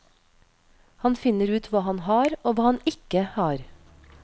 Han finner ut hva han har og hva han ikke har.